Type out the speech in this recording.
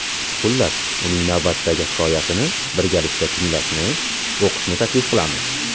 Xullas, uning navbatdagi hikoyasini birgalikda tinglashni/o‘qishni taklif qilamiz.